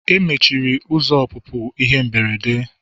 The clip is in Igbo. Emechiri ụzọ ọpụpụ ihe mberede.